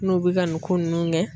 N'u bɛ ka nin ko ninnu kɛ